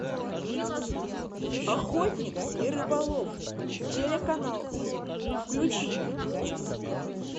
охотник и рыболов телеканал включи